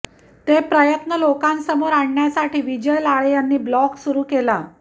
ते प्रयत्न लोकांसमोर आणण्यासाठी विजय लाळे यांनी ब्लॉग सुरू केला